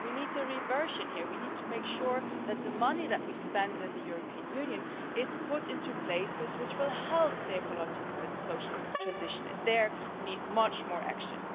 We need a reversion here, we need to make sure that the money that we spend in the European Union is put into places which will help the ecological and social transition, and there we need much more action.